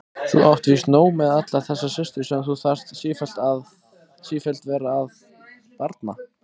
Þú átt víst nóg með allar þessar systur sem þú þarf sífellt vera að barna.